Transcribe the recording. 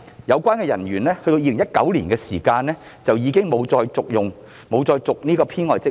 相關人員在2019年已沒有再續任這個編外職位。